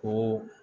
Ko